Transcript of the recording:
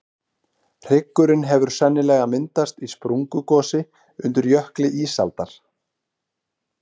Hryggurinn hefur sennilega myndast í sprungugosi undir jökli ísaldar.